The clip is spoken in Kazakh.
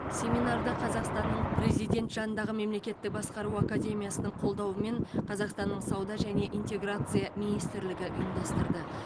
семинарды қазақстанның президент жанындағы мемлекеттік басқару академиясының қолдауымен қазақстанның сауда және интеграция министрлігі ұйымдастырды